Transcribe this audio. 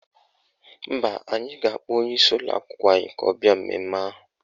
Mba, anyị ga-akpọ onyeisi ụlọakwụkwọ anyị ka ọ bịa mmemme ahụ.